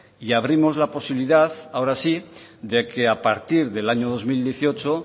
y abrimos la posibilidad ahora sí de que a partir del año dos mil dieciocho